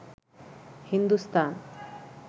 Hindustan